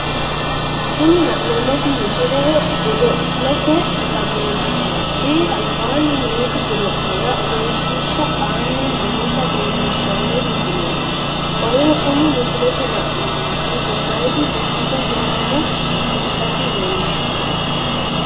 Tinni la'neemoti misile godollete qajeelshaanchi albaanni noosi godo'lera egenshiisha aanni noota leelishano misileeti. qoleno kunni misilete la'neemohu gobayidi lakkate gaamo ikkasi leelishano.